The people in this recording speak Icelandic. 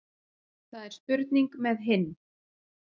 Það er spurning með hinn.